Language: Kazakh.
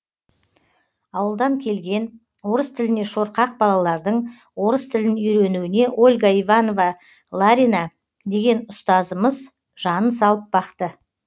ауылдан келген орыс тіліне шорқақ балалардың орыс тілін үйренуіне ольга иванова ларина деген ұстазымыз жанын салып бақты